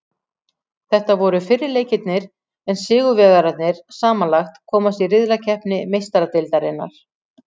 Þetta voru fyrri leikirnir en sigurvegararnir samanlagt komast í riðlakeppni Meistaradeildarinnar.